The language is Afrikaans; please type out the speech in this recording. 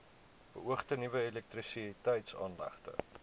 beoogde nuwe elektrisiteitsaanlegte